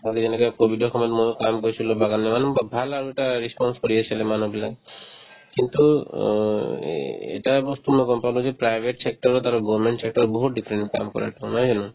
আৰু এনেকে ক'ভিডৰ সময়ত ময়ো কাম পাইছিলো বাগানৰ মানে ব ভাল আৰু এটা response কৰি আছিলে মানুহবিলাক মোকতো অ এই এটা বস্তু মই গম পালো যে private sector ত আৰু government sector ত বহুত difference কাম কৰাতো নহয় জানো